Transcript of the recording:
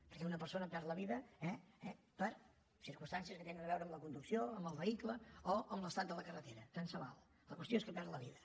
perquè una persona perd la vida eh per circumstàncies que tenen a veure amb la conducció amb el vehicle o amb l’estat de la carretera tant se val la qüestió és que perd la vida